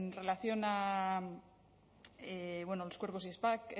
relación a los cuerpos y